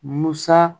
Musa